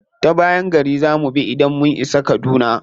Ta bayan gari za mu bi idan mun isa kaduna.